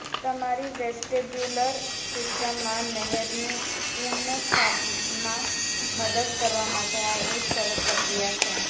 તમારી વેસ્ટેબ્યુલર સિસ્ટમમાં નહેરનું પુનઃસ્થાપનમાં મદદ કરવા માટે આ એક સરળ પ્રક્રિયા છે